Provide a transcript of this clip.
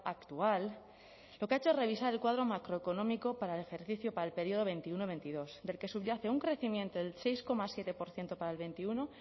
actual lo que ha hecho es revisar el cuadro macroeconómico para el ejercicio para el periodo veintiuno veintidós del que subyace un crecimiento del seis coma siete por ciento para el veintiuno